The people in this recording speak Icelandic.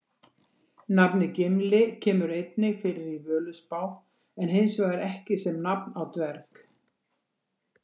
Nafnið Gimli kemur einnig fyrir í Völuspá en hins vegar ekki sem nafn á dverg.